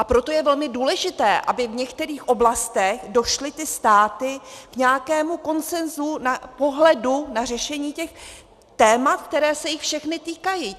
A proto je velmi důležité, aby v některých oblastech došly ty státy k nějakému konsenzu pohledu na řešení těch témat, která se jich všechny týkají.